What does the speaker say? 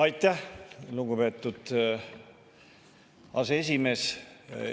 Aitäh, lugupeetud aseesimees!